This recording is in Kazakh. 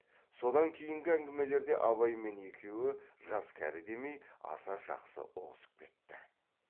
содан кейінгі әңгімелерде абай мен екеуі жас кәрі демей аса жақсы ұғысып кетті